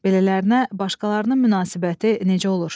Belələrinə başqalarının münasibəti necə olur?